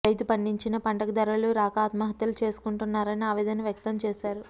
రైతు పండించిన పంటకు ధరలు రాక ఆత్మహత్యలు చేసుకుంటున్నారని ఆవేదన వ్యక్తం చేశారు